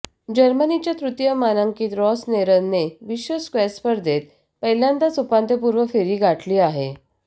जर्मनीच्या तृतीय मानांकीत रॉसनेरने विश्व स्क्वॅश स्पर्धेत पहिल्यांदाच उपांत्यपूर्व फेरी गाठली आहे